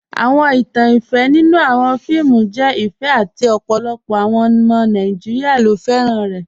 Awọn ìtàn ìfẹ nínu awọn fíìmù jẹ ìfẹ àti ọ̀pọ̀lọpọ̀ awọn ọmọ Nàìjíríà ló fẹ́ran rẹ̀.